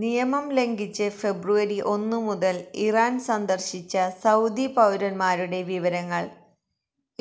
നിയമം ലംഘിച്ച് ഫെബ്രുവരി ഒന്നു മുതല് ഇറാന് സന്ദര്ശിച്ച സൌദി പൌരന്മാരുടെ വിവരങ്ങള്